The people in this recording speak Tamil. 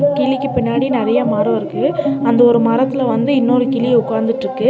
கிளிக்கு பின்னாடி நெறைய மரோ இருக்கு அந்த ஒரு மரத்துல வந்து இன்னொரு கிளி உக்காந்துட்ருக்கு.